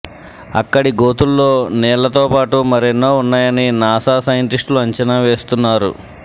అక్కడి గోతుల్లో నీళ్లతో పాటు మరెన్నో ఉన్నాయని నాసా సైంటిస్టులు అంచనా వేస్తున్నారు